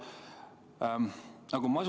Hea Aivar!